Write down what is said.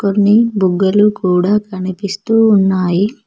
కొన్ని బుగ్గలు కూడా కనిపిస్తూ ఉన్నాయి.